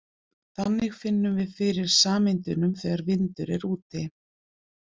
Þannig finnum við fyrir sameindunum þegar vindur er úti.